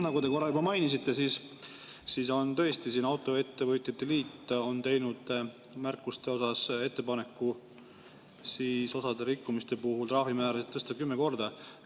Nagu te korra juba mainisite, tõesti on märkuste osas kirjas, et Autoettevõtete Liit on teinud ettepaneku tõsta rikkumiste puhul trahvimäärasid 10 korda.